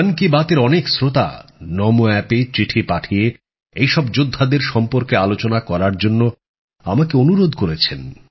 মন কি বাতএর অনেক শ্রোতা নমো অ্যাপে চিঠি পাঠিয়ে এইসব যোদ্ধাদের সম্পর্কে আলোচনা করার জন্য আমাকে অনুরোধ করেছেন